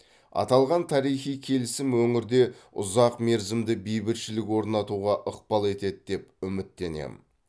аталған тарихи келісім өңірде ұзақ мерзімді бейбітшілік орнатуға ықпал етеді деп үміттенемін